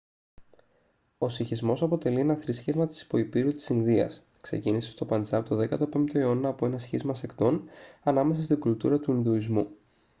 ο σιχισμός αποτελεί ένα θρήσκευμα της υποηπείρου της ινδίας ξεκίνησε στο παντζάμπ τον 15ο αιώνα από ένα σχίσμα σεκτών ανάμεσα στην κουλτούρα του ινδουισμού